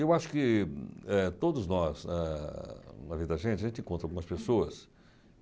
Eu acho que eh todos nós, ah na vida da gente, a gente encontra algumas pessoas.